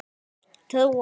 Því vill ég trúa.